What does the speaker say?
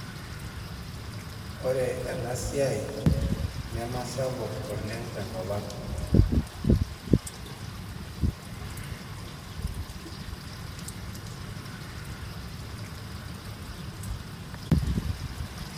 Ore ena siai neme sapuk oooleng te kop ang.